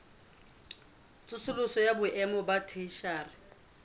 tsosoloso ya boemo ba theshiari